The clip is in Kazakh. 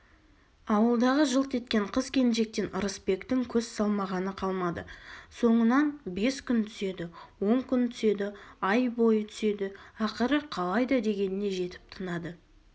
ауылдағы жылт еткен қыз-келіншектен ырысбектің көз салмағаны қалмады соңынан бес күн түседі он күн түседі ай бойы түседі ақыры қалайда дегеніне жетіп тынады